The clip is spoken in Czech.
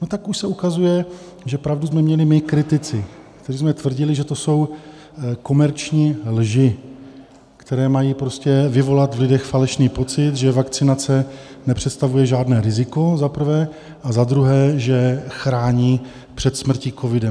No, tak už se ukazuje, že pravdu jsme měli my kritici, kteří jsme tvrdili, že to jsou komerční lži, které mají vyvolat v lidech falešný pocit, že vakcinace nepředstavuje žádné riziko, za prvé a za druhé, že chrání před smrtí covidem.